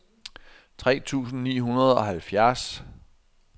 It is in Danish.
tre tusind ni hundrede og halvfjerds